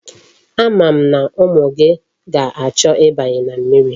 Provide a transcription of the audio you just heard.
Ama m na umu gi ga-acho ibanye na mmiri.